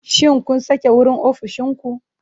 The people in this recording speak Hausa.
Shin kun sake wurin ofishin ku?